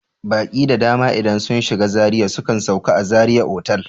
Baƙi da dama idan sun shiga Zaria sukan sauka a zaria otal